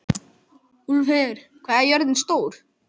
Úlfheiður, hvað er jörðin stór?